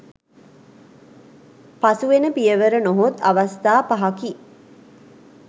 පසුවෙන පියවර නොහොත් අවස්ථා පහකි